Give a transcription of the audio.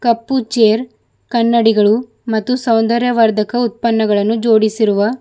ಕಪ್ಪು chair ಕನ್ನಡಿಗಳು ಮತ್ತು ಸೌಂದರ್ಯ ವರ್ಧಕ ಉತ್ಪನ್ನಗಳನ್ನು ಜೋಡಿಸಿರುವ --